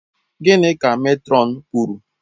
Gịnị ka matron kwuru?